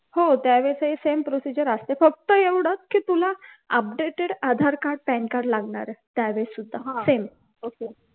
हो त्यावेळेसही same procedure असते फक्त एवढच की तुला updated आधारकार्ड पॅनकार्ड लागणारे त्यावेळी सुद्धा same